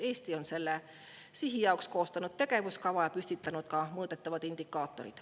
Eesti on selle sihi jaoks koostanud tegevuskava ja ka mõõdetavad indikaatorid.